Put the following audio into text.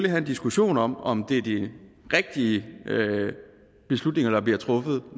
have en diskussion om om det er de rigtige beslutninger der bliver truffet